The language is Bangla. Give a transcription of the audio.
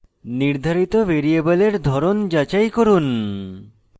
নির্ধারিত ভ্যারিয়েবলের ধরন যাচাই করুন